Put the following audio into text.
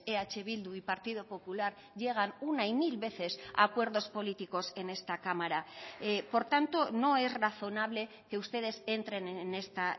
eh bildu y partido popular llegan una y mil veces a acuerdos políticos en esta cámara por tanto no es razonable que ustedes entren en esta